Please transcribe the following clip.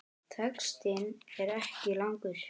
Textinn er ekki langur.